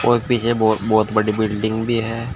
और पीछे बहोत बहोत बड़ी बिल्डिंग भी है।